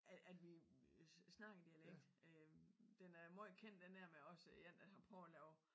At at vi snakker dialekt øh den er meget kendt den der med en der prøver at lave